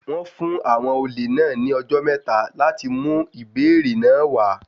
Wọ́n fún àwọn olè náà ní ọjọ́ mẹ́ta láti mú ìbéèrè náà wá.